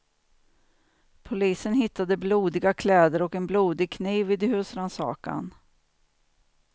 Polisen hittade blodiga kläder och en blodig kniv vid husrannsakan.